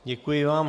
Děkuji vám.